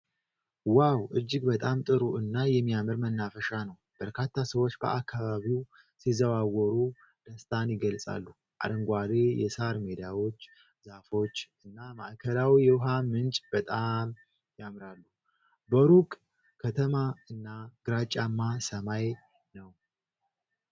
ዋው! እጅግ በጣም ጥሩ እና የሚያምር መናፈሻ ነው። በርካታ ሰዎች በአካባቢው ሲዘዋወሩ ደስታን ይገልጻሉ። አረንጓዴ የሳር ሜዳዎች፣ ዛፎች እና ማዕከላዊ የውኃ ምንጭ በጣም ያምራሉ። በሩቅ ከተማ እና ግራጫማ ሰማይ ነው።